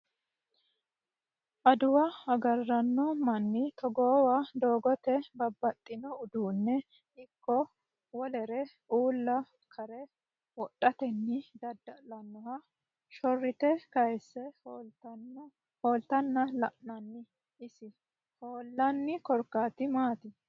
Adawu agaraano Mannu togoowa doogete babbaxino uduunne ikko wolere uulla kare wodhatenni dadda'lanoha shorrite kayiisse hooltanna la'nannina isi hoollanni korkaati maati?